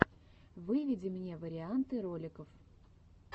выведи мне варианты роликов